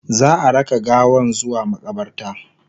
za'a raka gawan zuwa maƙabarta